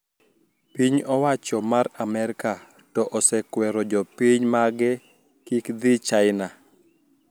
Piny owacho mar Amerka to osekwero jopinyn mage kik dhi China